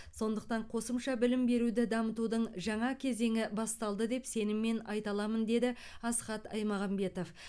сондықтан қосымша білім беруді дамытудың жаңа кезеңі басталды деп сеніммен айта аламын деді асхат аймағамбетов